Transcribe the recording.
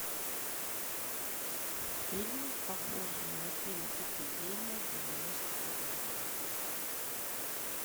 фильмы похожие на фильм эпидемия девяносто пятого года